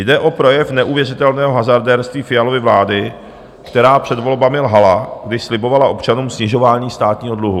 Jde o projev neuvěřitelného hazardérství Fialovy vlády, která před volbami lhala, když slibovala občanům snižování státního dluhu.